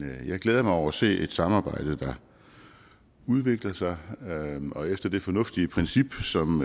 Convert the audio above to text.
jeg glæder mig over at se et samarbejde der udvikler sig og efter det fornuftige princip som